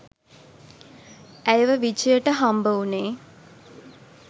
ඇයව විජයට හම්බ වුනේ